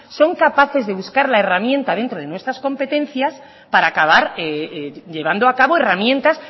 son capaces de buscar la herramienta dentro de nuestras competencias para acabar llevando a cabo herramientas